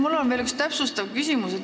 Mul on veel üks täpsustav küsimus.